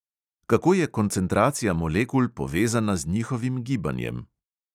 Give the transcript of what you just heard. Kako je koncentracija molekul povezana z njihovim gibanjem?